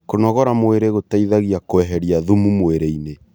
Kũnogora mwĩrĩ gũteĩthagĩa kweherĩa thũmũ mwĩrĩĩnĩ